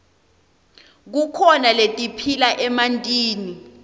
kukhona letiphila emantini